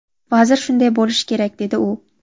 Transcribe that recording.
Vazir shunday bo‘lishi kerak, dedi u.